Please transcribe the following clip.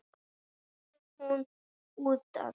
Lítið hús utan.